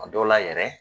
A dɔw la yɛrɛ